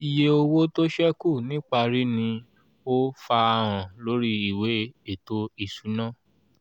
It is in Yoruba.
iye owó tó sẹ́kù niparí ni ó farahàn lórí ìwé ètò ìṣúná